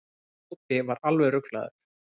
Tóti var alveg ruglaður.